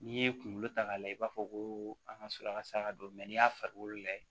N'i ye kunkolo ta k'a lajɛ i b'a fɔ ko an ka sɔrɔ a ka saraka don n'i y'a farikolo lajɛ